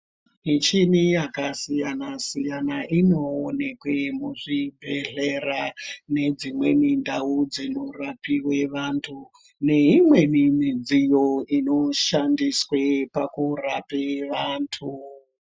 Michini yakasiyana siyana inoonekwe muzvibhedhlera nedzimweni ndau dzinorapiwe antu neimweni midziyo inoshandiswe pakurape vantu.